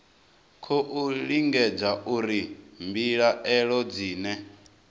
khou lingedza uri mbilaelo dzine